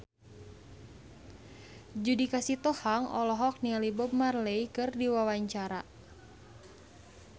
Judika Sitohang olohok ningali Bob Marley keur diwawancara